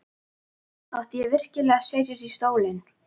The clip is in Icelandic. Átti ég virkilega að setjast í stólinn?